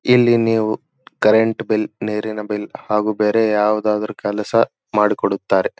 ಇಲ್ಲಿ ನೀವು current bill ನೀರಿನ ಬಿಲ್ ಹಾಗು ಬೇರೆ ಯಾವುದಾದರು ಕೆಲಸ ಮಾಡಿಕೊಡುತ್ತಾರೆ.